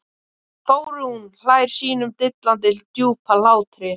Þórunn hlær sínum dillandi djúpa hlátri.